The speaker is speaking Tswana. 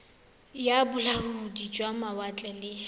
ya bolaodi jwa mawatle le